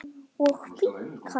og finkan?